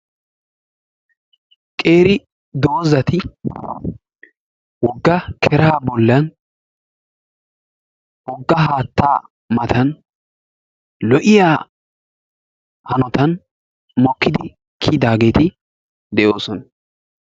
qeeri dozati woga keraa bolan woga haataa matan lo'iya hanotan mokidi kiyidaageti de'oososna.